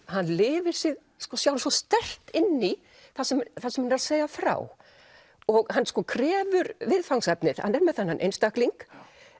hann lifir sig svo sterkt inn í það sem það sem hann er að segja frá og hann sko krefur viðfangsefnið hann er með þennan einstakling